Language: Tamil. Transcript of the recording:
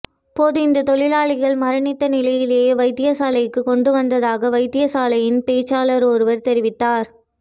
போது இந்த தொழிலாளி மரணித்த நிலையிலே வைத்தியசாலைக்கு கொண்டு வந்ததாக வைத்தியசாலையின் பேச்சாளர் ஒருவர் தெரிவித்தார்